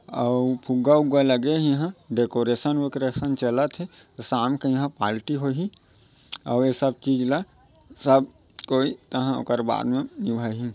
आउ फ़ुग्गा-उग्गा लगे हे इहा डेकोरेशन वेकोरेसन चलत हे शाम के इहा पालटी होही आउ ये सब चीज ला सब कोई तहा ओकर बाद मे निभाही।